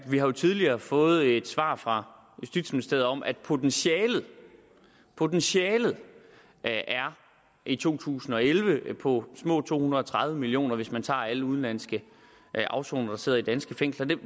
vi har jo tidligere fået et svar fra justitsministeriet om at potentialet potentialet i to tusind og elleve er på små to hundrede og tredive million kr hvis man tager alle udenlandske afsonere der sidder i danske fængsler